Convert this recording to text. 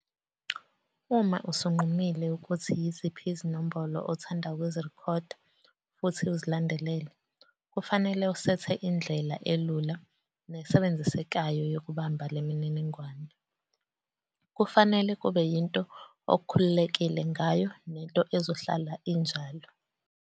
Uma usunqumile ukuthi yiziphi izinombolo othanda ukuzirekhoda futhi uzilandelele, kufanele usethe indlela elula nesebenzisekayo yokubamba le mininingwane. Kufanele kube yinto okhululekile ngayo nento ezohlala injalo.